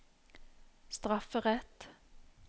strafferett